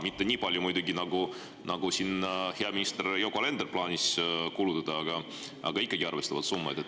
Mitte nii palju muidugi, nagu heal ministril Yoko Alenderil on plaanis kulutada, aga ikkagi arvestatavad summad.